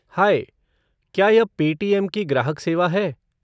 High, क्या यह Paytm की ग्राहक सेवा है?